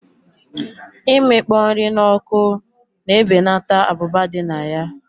Imikpo nri na oku na ebeneta abụba dị na ya